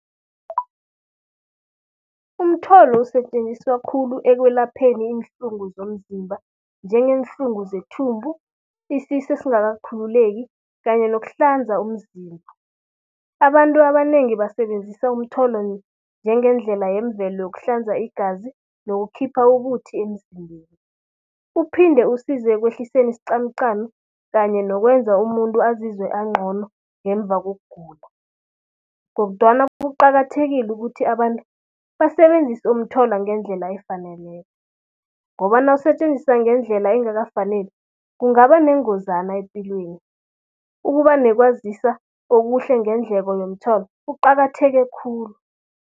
Umtholo usetjenziswa khulu ekwelapheni iinhlungu zomzimba, njengeenhlungu zethumbu, isisu esingakakhululeki kanye nokuhlanza umzimba. Abantu abanengi basebenzisa umtholo njengendlela yemvelo yokuhlanza igazi nokukhipha umuthi emzimbeni. Uphinde usize ekwehliseni isqamuqamu kanye nokwenza umuntu azizwe angcono ngemva kokugula. Kodwana kuqakathekile ukuthi abantu basebenzise umtholo ngendlela efaneleko ngoba nawusetjenziswa ngendlela engakafaneli, kungaba nengozana epilweni. Ukuba nekwazisa okuhle ngendleko yomtholo kuqakatheke khulu.